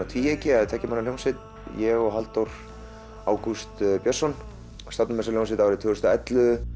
tvíeyki eða tveggja manna hljómsveit ég og Halldór Ágúst Björnsson stofnuðum þessa hljómsveit tvö þúsund og ellefu